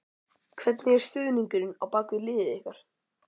Hvernig er stuðningurinn á bak við liðið ykkar?